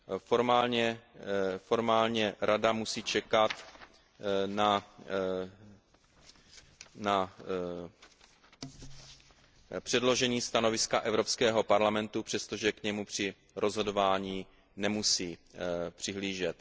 Formálně Rada musí čekat na předložení stanoviska Evropského parlamentu, přestože k němu při rozhodování nemusí přihlížet.